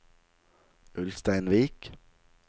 Ulsteinvik